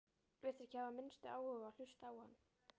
Virtist ekki hafa minnsta áhuga á að hlusta á hann.